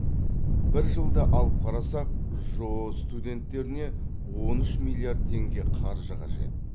бір жылды алып қарасақ жоо студенттеріне он үш миллиард теңге қаржы қажет